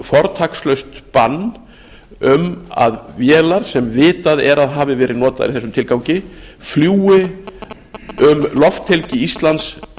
fortakslaust bann um að vélar sem vitað er að hafi verið notaðar í þessum tilgangi fljúgi um lofthelgi íslands